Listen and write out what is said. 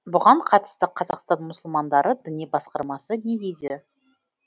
бұған қатысты қазақстан мұсылмандары діни басқармасы не дейді